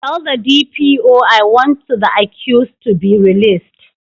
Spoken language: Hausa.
Tell the D. P. O I want to the accused to be released